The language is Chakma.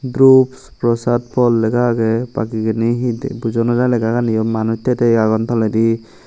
drups prosad fhal lega agey bakigeni hi buja naw jai legaganiyo manuj thei thei agon toledi.